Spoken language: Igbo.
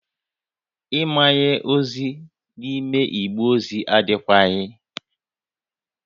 Ịmanye ozi n'ime igbe ozi adịkwaghị